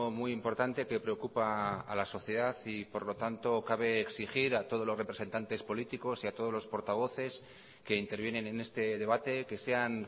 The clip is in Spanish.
muy importante que preocupa a la sociedad y por lo tanto cabe exigir a todos los representantes políticos y a todos los portavoces que intervienen en este debate que sean